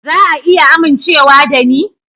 Za a iya amincewa da ni?